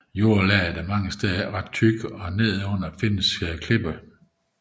Jordlaget er mange steder ikke ret tykt og nedenunder findes klippegrund